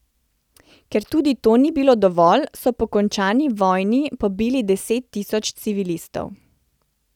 Ker tudi to ni bilo dovolj, so po končani vojni pobili deset tisoč civilistov.